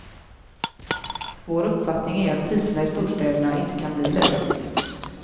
Vår uppfattning är att priserna i storstäderna inte kan bli lägre.